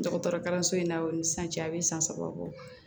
Dɔgɔtɔrɔ kalanso in na o ni san cɛ a bɛ san saba bɔ